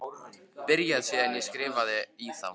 Byrjar síðan að skrifa í þá.